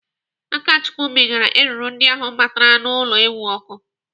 Akachukwu mịgara eruru ndị ahụ batara n'ụlọ ewu ọkụ.